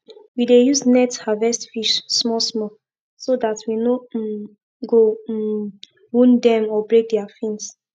we dey use net harvest fish small small so that we no um go um wound dem or break their fins